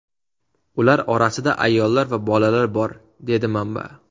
Ular orasida ayollar va bolalar bor”, dedi manba.